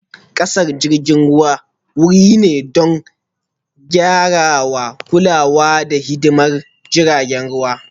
Busasshen tashar jiragen ruwa wuri ne don gyarawa, kulawa, da hidimar jiragen ruwa